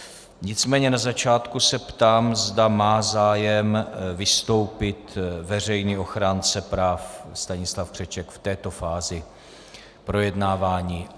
Nicméně na začátku se ptám, zda má zájem vystoupit veřejný ochránce práv Stanislav Křeček v této fázi projednávání?